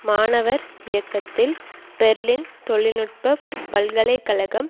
மாணவர் இயக்கத்தில் பெர்லின் தொழில் நுட்ப பல்கலை கழகம்